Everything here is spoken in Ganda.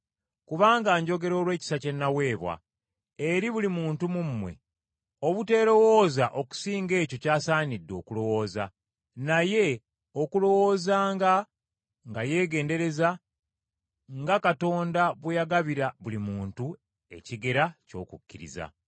Kubanga njogera olw’ekisa kye naweebwa, eri buli muntu mu mmwe, obuteerowooza okusinga ekyo ky’asaanidde okulowooza, naye okulowoozanga nga yeegendereza, nga Katonda bwe yagabira buli muntu ekigera ky’okukkiriza.